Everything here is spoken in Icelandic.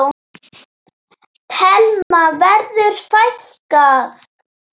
Telma: Verður fækkað?